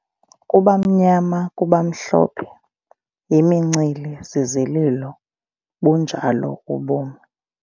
Kuba mnyama, kuba mhlophe yimincili zizilo kunjalo ubomi.